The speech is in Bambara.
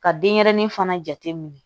Ka denyɛrɛnin fana jate minɛ